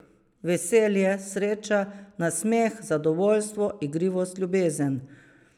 Veselje, sreča, nasmeh, zadovoljstvo, igrivost, ljubezen ...